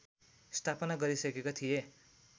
स्थापना गरिसकेका थिए